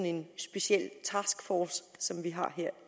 en speciel taskforce som vi har her